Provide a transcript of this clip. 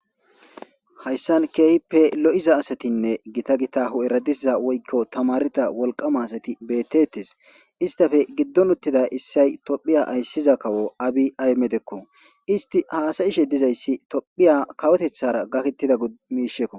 hayssan keehipe lo7iza asatinne gita gitahu eradiza woykko tamarita wolqama asati bettetes istafe giddon uttida issay tophiya ayssiza kawo abi aymedekko isti haasayishe dizayssi tophiya kawotethara gakettida gmiishekko